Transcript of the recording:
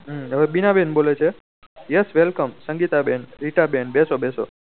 હમ હવે બીના બેન ઓળે છે yes welcome સંગીતા બેન રીતે બેન બેસો બેસો